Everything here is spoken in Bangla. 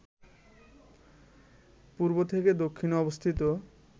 পূর্ব থেকে দক্ষিণে অবস্থিত